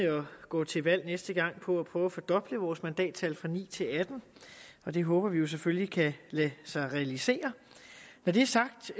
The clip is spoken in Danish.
og går til valg næste gang på at prøve at fordoble vores mandattal fra ni til atten og det håber vi jo selvfølgelig kan lade sig realisere når det er sagt